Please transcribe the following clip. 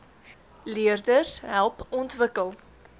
leerders help ontwikkel